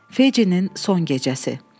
Feccinin son gecəsi.